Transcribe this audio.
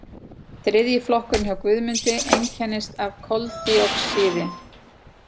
Þriðji flokkurinn hjá Guðmundi einkennist af koldíoxíði.